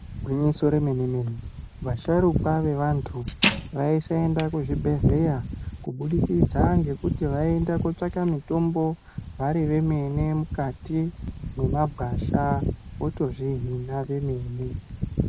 Igwinyiso remene vasharukwa vaantu vaisaenda kuzvibhedhlera, kubudikidza ngekuti vaiiende kootsvake mitombo vari vemene mukati memagwasha votozvihina vemene.